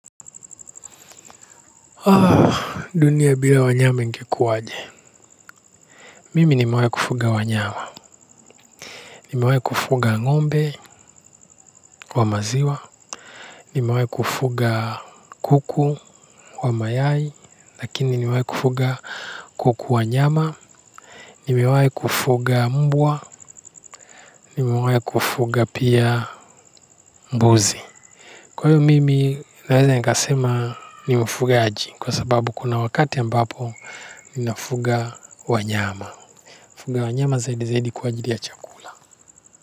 Dunia bila wanyama ingekuwaje. Mimi nimewai kufuga wanyama. Nimewai kufuga ng'ombe wa maziwa. Nimewai kufuga kuku wa mayai. Lakini nimewai kufuga kuku wa nyama. Nimewai kufuga mbwa. Nimewai kufuga pia mbuzi. Kwa hiyo mimi naweza nikasema ni mfugaji kwa sababu kuna wakati ambapo ninafuga wanyama. Kufuga wanyama zaidi zaidi kwa ajili ya chakula.